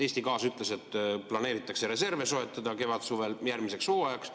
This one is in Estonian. Eesti Gaas ütles, et planeeritakse reserve soetada kevadel‑suvel järgmiseks hooajaks.